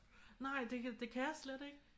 Nej det kan det kan jeg slet ikke